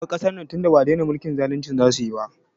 Ki bar kasar nan tinda ba dena mulkin zalinci za su yi ba!